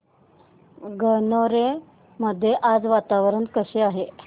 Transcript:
गणोरे मध्ये आज वातावरण कसे आहे